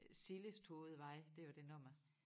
Sillesthovedvej det var det nummer